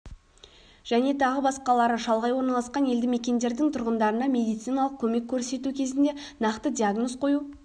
және тағы басқалары шалғай орналасқан елді мекендердің тұрғындарына медициналық көмек көрсету кезінде нақты диагноз қою